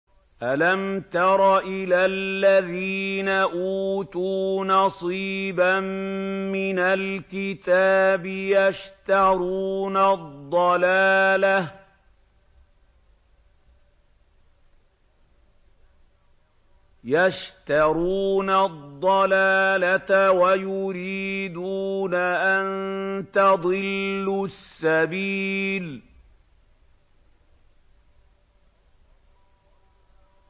أَلَمْ تَرَ إِلَى الَّذِينَ أُوتُوا نَصِيبًا مِّنَ الْكِتَابِ يَشْتَرُونَ الضَّلَالَةَ وَيُرِيدُونَ أَن تَضِلُّوا السَّبِيلَ